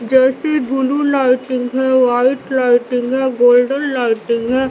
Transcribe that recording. जैसे blue lighting है white lighting है गोल्डन लाइटिंग है।